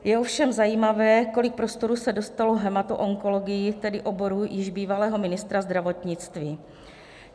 Je ovšem zajímavé, kolik prostoru se dostalo hematoonkologii, tedy oboru již bývalého ministra zdravotnictví.